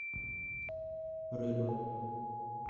рыба